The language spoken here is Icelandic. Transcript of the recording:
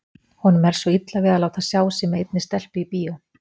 Honum er svo illa við að láta sjá sig með einni stelpu í bíó.